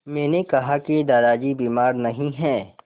मैंने कहा कि दादाजी बीमार नहीं हैं